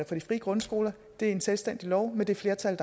for de frie grundskoler det er en selvstændig lov med det flertal